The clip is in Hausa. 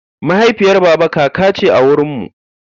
Mahaifiyar baba kaka ce a wurinmu.